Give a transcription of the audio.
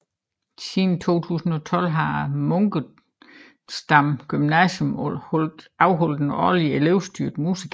Siden 2012 har Munkensdam Gymnasium afholdt en årlig elevstyret musical